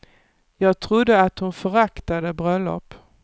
Jag trodde att hon föraktade bröllop.